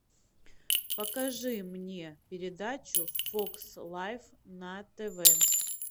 покажи мне передачу фокс лайф на тв